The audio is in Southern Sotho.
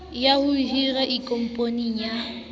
ya ho hira ikopanyeng le